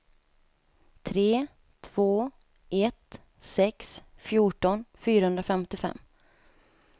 tre två ett sex fjorton fyrahundrafemtiofem